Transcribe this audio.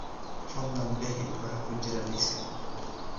fadlan bixi waxa ku jira liiska